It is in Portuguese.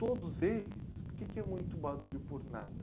Todos eles, por que que é muito barulho por nada?